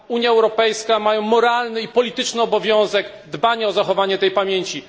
Parlament Europejski ma moralny i polityczny obowiązek dbania o zachowanie tej pamięci.